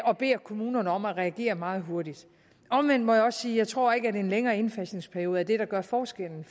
og beder kommunerne om at reagere meget hurtigt omvendt må jeg også sige at jeg tror ikke at en længere indfasningsperiode er det der gør forskellen